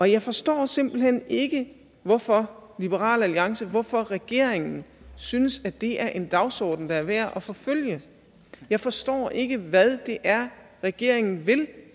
jeg forstår simpelt hen ikke hvorfor liberal alliance hvorfor regeringen synes at det er en dagsorden der er værd at forfølge jeg forstår ikke hvad det er regeringen vil